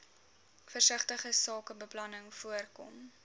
versigtige sakebeplanning voorkom